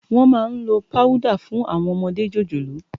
Wòn má n ló páwùdá fún áwòn òmòdé jójólóò